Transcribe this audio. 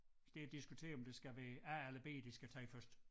Det er at diskutere om det skal være A eller B de skal tage først